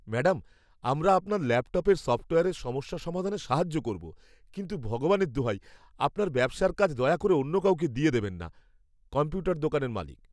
Madam, আমরা আপনার ল্যাপটপের সফ্টওয়্যারের সমস্যা সমাধানে সাহায্য করবো, কিন্তু, ভগবানের দোহাই, আপনার ব্যবসার কাজ দয়া করে অন্য কাউকে দিয়ে দেবেন না। কম্পিউটার দোকানের মালিক